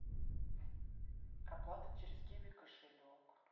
оплата через киви кошелек